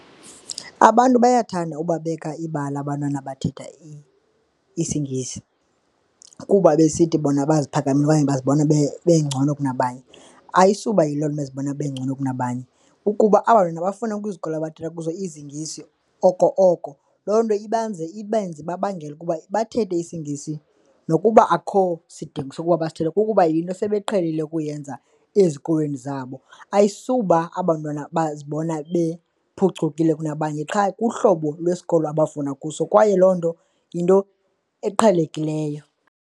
Abantu bayathanda ukubabeka ibala abantwana bathetha isiNgesi kuba besithi bona baziphakamisile okanye bazibona beengcono kunabanye, ayisuba yiloo nto bezibona bengcono kunabanye. Ukuba aba 'ntwana bafunda kwizikolo abathetha kuzo izingisi oko oko, loo nto ibanze, ibenze ibabangela ukuba bathethe isiNgesi nokuba akukho sidingo sokuba basithethe, kukuba yinto sebeqhelile ukuyenza ezikolweni zabo. Ayisuba aba 'ntwana bazibona bephucukile kunabanye qha kuhlobo lwesikolo abafunda kuso kwaye loo nto yinto eqhelekileyo.